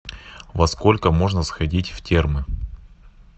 во сколько можно сходить в термы